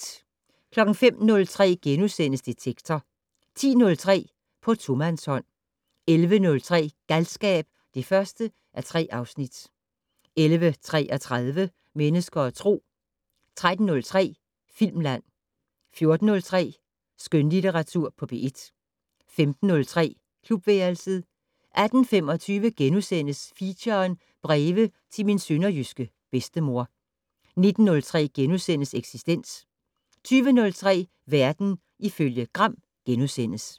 05:03: Detektor * 10:03: På tomandshånd 11:03: Galskab (1:3) 11:33: Mennesker og Tro 13:03: Filmland 14:03: Skønlitteratur på P1 15:03: Klubværelset 18:25: Feature: Breve til min sønderjyske bedstemor * 19:03: Eksistens * 20:03: Verden ifølge Gram *